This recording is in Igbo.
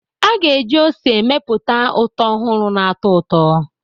A ga-eji ose mepụta ụtọ ọhụrụ na-atọ ụtọ.